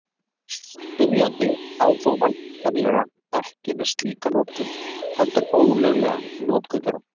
Spyrjandi á þó væntanlega ekki við slíka notkun, heldur ólöglega notkun þeirra.